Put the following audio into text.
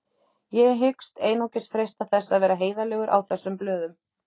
Ég hyggst einungis freista þess að vera heiðarlegur á þessum blöðum.